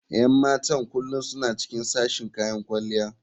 Yan matan kullum suna cikin sashen kayan kwalliya.